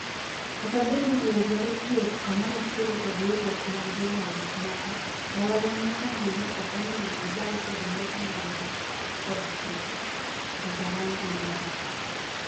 "Kata bed ni duol dwaro tio kamorachiel kod riwruok mag jolony moko mbalariany nyaka ng'e ni okonego gibal kod ng'eto mar doho kdo chike, Ntarangwi nowacho.